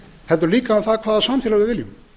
heldur líka hvaða samfélag við viljum